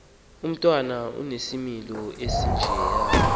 umntwana onesimilo esinjeya